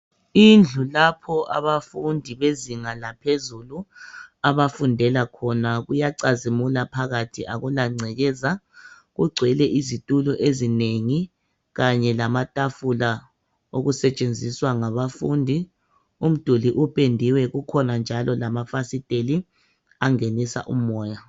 Indlu lapho abafundi bezinga laphezulu abafundela khona kuyacazimula phakathi akula ngcekeza kugcwele izitulo ezinengi kanye lamatafula okusetshenziswa nga bafundi umduli upendiwe kukhona njalo lamafasitela angenisa umoya